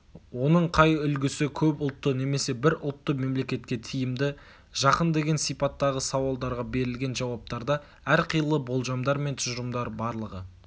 оның қай үлгісі көп ұлтты немесе бір ұлтты мемлекетке тиімді жақын деген сипаттағы сауалдарға берілген жауаптарда әрқилы болжамдар мен тұжырымдары барлығы